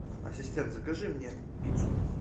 ассистент закажи мне пиццу